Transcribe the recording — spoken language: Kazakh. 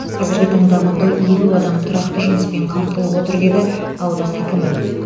қазіргі таңда мұнда елу адам тұрақты жұмыспен қамтылып отыр деді аудан әкімі